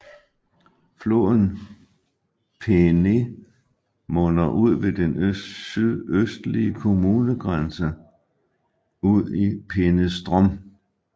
Floden Peene munder ved den sydøstlige kommunegrænse ud i Peenestrom